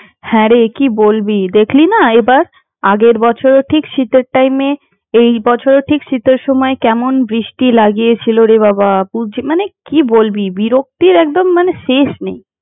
হ্যাঁ রে কি বলবি দেখলি না এবার আগের বছর ও ঠিক শীতের টাইমে এই বছর ও ঠিক শীতের টাইমে এমন বৃষ্টি লাগিয়ে ছিলোরে বাবা মানে কি বলবি! বিরক্তির একদম মানে শেষ নেই।